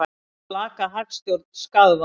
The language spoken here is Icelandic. Segir slaka hagstjórn skaðvald